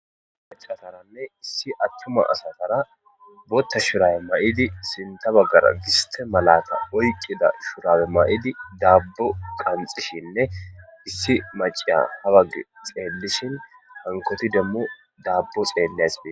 Machataranne issi attuma asatara booththa shurabe mayidi sintha baggara giste malata oyqqida shurabe mayidi daabbo qanxishinne issi maciya ha baggi xeellishin hankoti demmo daabbo xeelleshe dees.